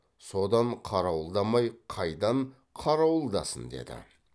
содан қарауылдамай қайдан қарауылдасын деді